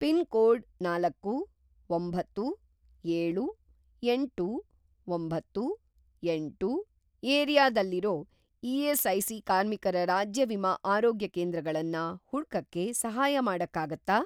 Pin code ನಾಲ್ಕು, ಒಂಬತ್ತು, ಏಳು, ಎಂಟು, ಒಂಬತ್ತು, ಎಂಟು ಏರಿಯಾದಲ್ಲಿರೋ ಇ.ಎಸ್.ಐ.ಸಿ. ಕಾರ್ಮಿಕರ ರಾಜ್ಯ ವಿಮಾ ಆರೋಗ್ಯಕೇಂದ್ರಗಳನ್ನ ಹುಡ್ಕಕ್ಕೆ ಸಹಾಯ ಮಾಡಕ್ಕಾಗತ್ತಾ?